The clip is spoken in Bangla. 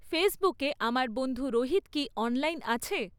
ফেসবুকে আমার বন্ধু রোহিত কি অনলাইন আছে?